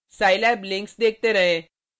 scilab links देखते रहें